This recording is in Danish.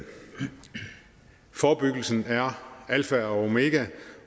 forebyggelsen er alfa og omega